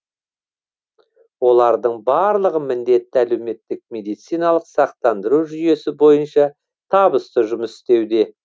олардың барлығы міндетті әлеуметтік медициналық сақтандыру жүйесі бойынша табысты жұмыс істеуде